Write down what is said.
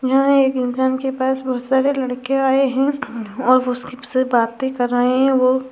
यहाँ एक इंसान के पास बहुत सारे लड़के आये हैं और वो सबसे बाते कर रहे हैं वो |